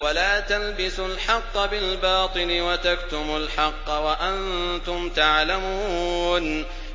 وَلَا تَلْبِسُوا الْحَقَّ بِالْبَاطِلِ وَتَكْتُمُوا الْحَقَّ وَأَنتُمْ تَعْلَمُونَ